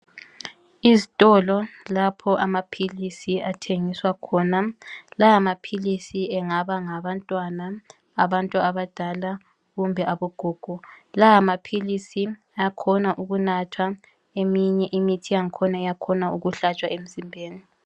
Izitolo lapho amaphilisi athengiswa khona. La maphilisi engaba ngawabantwana, abantu abadala, kumbe abogogo. Ayakhona ukunathwa, eminye imithi yakhona iyakhona kuhlatshwa emzimbeni.